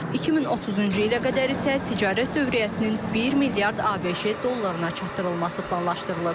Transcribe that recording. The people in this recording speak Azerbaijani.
2030-cu ilə qədər isə ticarət dövriyyəsinin 1 milyard ABŞ dollarına çatdırılması planlaşdırılıb.